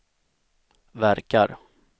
verkar